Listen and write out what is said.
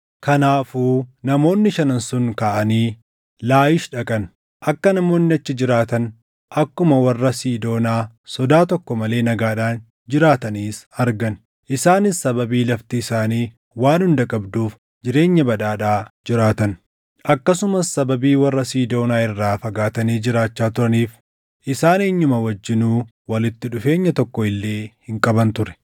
Kanaafuu namoonni shanan sun kaʼanii Laayish dhaqan; akka namoonni achi jiraatan, akkuma warra Siidoonaa sodaa tokko malee nagaadhaan jiraatanis argan. Isaanis sababii lafti isaanii waan hunda qabduuf jireenya badhaadhaa jiraatan. Akkasumas sababii warra Siidoonaa irraa fagaatanii jiraachaa turaniif isaan eenyuma wajjinuu walitti dhufeenya tokko illee hin qaban ture.